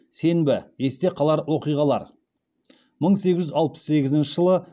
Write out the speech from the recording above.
сенбі есте қалар оқиғалар мың сегіз жүз алпыс сегізінші жылы